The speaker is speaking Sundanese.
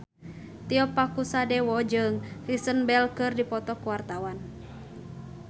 Tio Pakusadewo jeung Kristen Bell keur dipoto ku wartawan